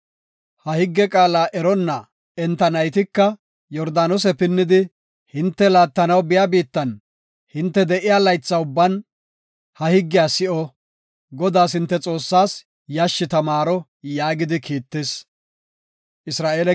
Ha higge qaala eronna enta naytika Yordaanose pinnidi, hinte laattanaw biya biittan, hinte de7iya laytha ubban ha higgiya si7o; Godaas, hinte Xoossaas, yashshi tamaaro” yaagidi kiittis.